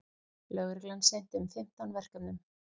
Lögreglan sinnti um fimmtán verkefnum